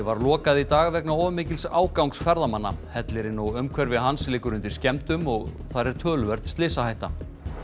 var lokað í dag vegna of mikils ágangs ferðamanna hellirinn og umhverfi hans liggur undir skemmdum og þar er töluverð slysahætta